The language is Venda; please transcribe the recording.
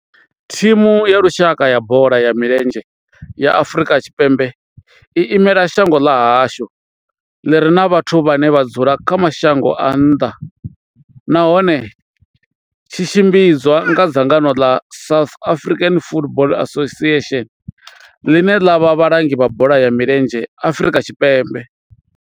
Thimu ya lushaka ya bola ya milenzhe ya Afrika Tshipembe i imela shango ḽa hashu ḽi re na vhathu vhane vha dzula kha mashango a nnḓa nahone tshi tshimbidzwa nga dzangano ḽa South African Football Association, ḽine ḽa vha vhalangi vha bola ya milenzhe Afrika Tshipembe.